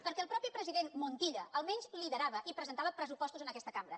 perquè el mateix president montilla almenys liderava i presentava pressupostos en aquesta cambra